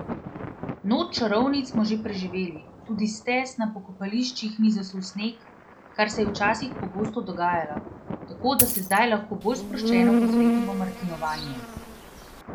Noč čarovnic smo že preživeli, tudi stez na pokopališčih ni zasul sneg, kar se je včasih pogosto dogajalo, tako da se zdaj lahko bolj sproščeno posvetimo martinovanju!